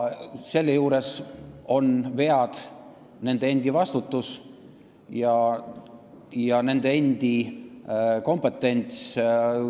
See on nende kompetents ja selle juures jäävad vead nende endi vastutusele.